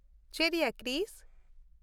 ᱪᱮᱫ ᱭᱟ, ᱠᱨᱤᱥ!